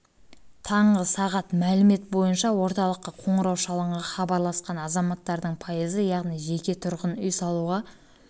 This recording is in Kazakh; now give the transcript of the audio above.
таңғы сағат мәлімет бойынша орталыққа қоңырау шалынған хабарласқан азаматтардың пайызы яғни жеке тұрғын үй салуға